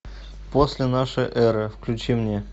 после нашей эры включи мне